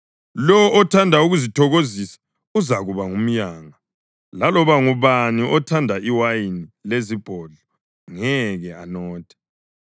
Lowo othanda ukuzithokozisa uzakuba ngumyanga; laloba ngubani othanda iwayini lezibondlo ngeke anothe.